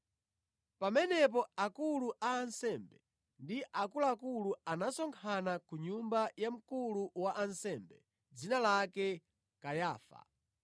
Pamenepo akulu a ansembe ndi akuluakulu anasonkhana ku nyumba ya mkulu wa ansembe dzina lake Kayafa,